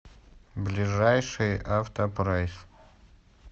ближайший автопрайс